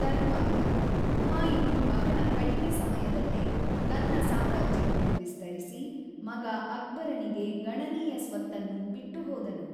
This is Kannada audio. ತರುವಾಯ, ಹುಮಾಯೂನ್ ಬಹಳ ಕಡಿಮೆ ಸಮಯದಲ್ಲೇ ತನ್ನ ಸಾಮ್ರಾಜ್ಯವನ್ನು ವಿಸ್ತರಿಸಿ, ಮಗ ಅಕ್ಬರನಿಗೆ ಗಣನೀಯ ಸ್ವತ್ತನ್ನು ಬಿಟ್ಟುಹೋದನು.